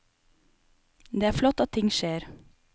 Det er flott at ting skjer.